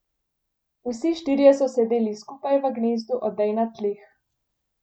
Vsi štirje so sedeli skupaj v gnezdu odej na tleh.